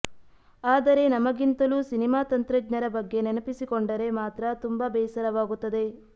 ಆದರೆ ನಮಗಿಂತಲೂ ಸಿನಿಮಾ ತಂತ್ರಜ್ಞರ ಬಗ್ಗೆ ನೆನಪಿಸಿಕೊಂಡರೆ ಮಾತ್ರ ತುಂಬ ಬೇಸರವಾಗುತ್ತದೆ